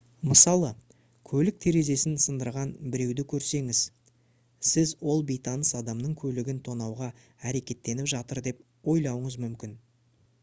мысалы көлік терезесін сындырған біреуді көрсеңіз сіз ол бейтаныс адамның көлігін тонауға әрекеттеніп жатыр деп ойлауыңыз мүмкін